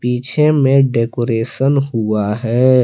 पीछे में डेकोरेशन हुआ है।